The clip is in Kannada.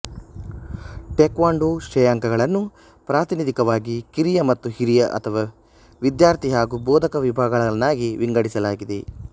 ಟೇಕ್ವಾಂಡೋ ಶ್ರೇಯಾಂಕಗಳನ್ನು ಪ್ರಾತಿನಿಧಿಕವಾಗಿ ಕಿರಿಯ ಮತ್ತು ಹಿರಿಯ ಅಥವಾ ವಿದ್ಯಾರ್ಥಿ ಹಾಗೂ ಬೋಧಕ ವಿಭಾಗಗಳನ್ನಾಗಿ ವಿಂಗಡಿಸಲಾಗಿದೆ